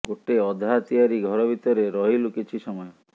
ଗୋଟେ ଅଧା ତିଆରି ଘର ଭିତରେ ରହିଲୁ କିଛି ସମୟ